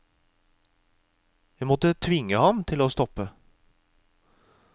Jeg måtte tvinge ham til å stoppe.